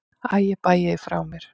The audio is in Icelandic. Æ ég bægi því frá mér.